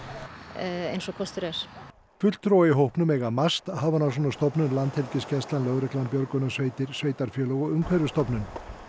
eins og kostur er fulltrúa í hópnum eiga MAST Hafrannsóknastofnun Landhelgisgæslan lögreglan björgunarsveitir sveitarfélög og Umhverfisstofnun